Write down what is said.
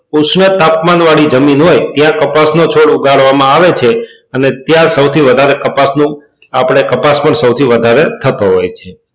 ઓછા તાપમાન વાળી જમીન હોય ત્યાં કપાસ નો છોડ ઉગાડવા માં આવે છે અને ત્યાં સૌથી વધારે કપાસ નું આપડે કપાસ પણ સૌથી વધારે થતો હોય છે